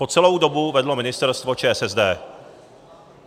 Po celou dobu vedla ministerstvo ČSSD.